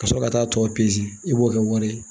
Ka sɔrɔ ka taa tɔ i b'o kɛ wari ye